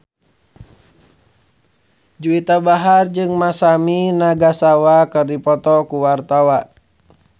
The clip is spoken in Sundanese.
Juwita Bahar jeung Masami Nagasawa keur dipoto ku wartawan